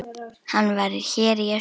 Hann var hér í austur.